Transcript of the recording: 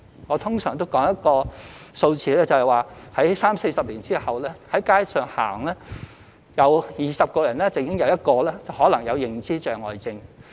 我通常也會談到一個數字，即在三四十年後，走在街上，每20人中便有1個可能患有認知障礙症。